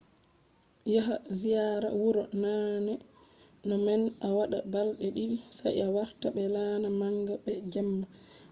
ɗon ɗonufa a wawan a yaha ziyara wuro naane no man a waɗa balɗe ɗiɗi sai a warta be laana manga be jemma